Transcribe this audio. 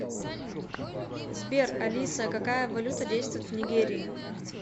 сбер алиса какая валюта действует в нигерии